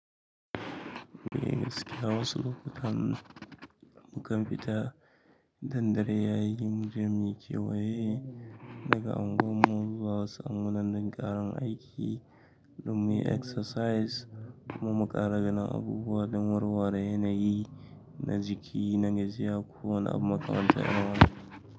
Eh gaskiya wasu lokutan mukan fita idan dare yayi muje muyi kewaye daga unguwar mu zuwa wasu unguwannin ƙarin aiki domin mu yi exercise kuma mu ƙara ganin abubuwa da warware yanayi na jiki na gajiya ko wana abu makamanta irin wannan.